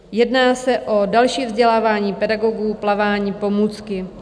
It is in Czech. Jedná se o další vzdělávání pedagogů, plavání, pomůcky.